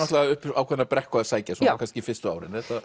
upp ákveðna brekku að sækja kannski fyrstu árin